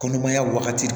Kɔnɔmaya wagati